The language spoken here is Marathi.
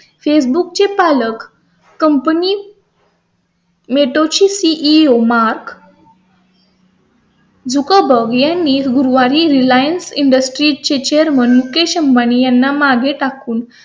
फेसबुक facebook चे पालक कंपनी . mark zukbarg झुका बघेल यांनी गुरुवारी realiance industries चे चेअरमन मुकेश अंबानी यांना मागे टाकून